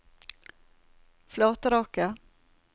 Flatraket